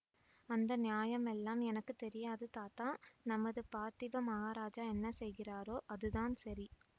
அந்த நியாயமெல்லாம் எனக்கு தெரியாது தாத்தா நமது பார்த்திப மகாராஜா என்ன செய்கிறாரோ அதுதான் சரி